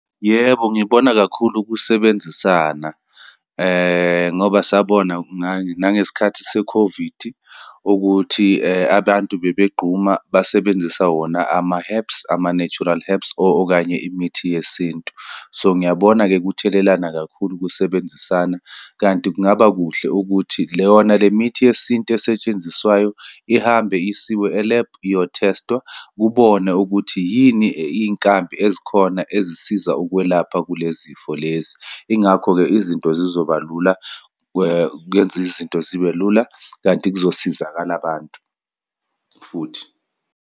Yebo, ngibona kakhulu kusebenzisana ngoba sabona nangesikhathi se-COVID ukuthi abantu babegquma, basebenzisa wona ama-herbs, ama-natural herbs, okanye imithi yesintu. So, ngiyabona kuthelelana kakhulu ukusebenzisana, kanti kungaba kuhle ukuthi yona le mithi yesintu esetshenziswayo ihambe isiwe elebhu iyo-test-wa, kubone ukuthi yini iyinkambi ezikhona ezisiza ukwelapha kule zifo lezi. Yingakho-ke izinto zizoba lula, kwenze izinto zibe lula, kanti kuzosizakala abantu futhi.